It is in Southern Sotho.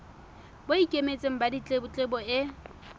bo ikemetseng ba ditletlebo e